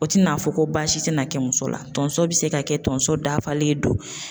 O tina fɔ ko baasi tina kɛ muso la tonso bi se ka kɛ tonso dafalen don